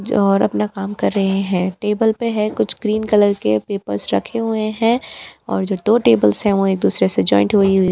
और अपना काम कर रहे हैं टेबल पे है कुछ ग्रीन कलर के पेपर्स रखे हुए हैं और जो दो टेबल्स हैं वह एक दूसरे से जॉइंट हुई हुई --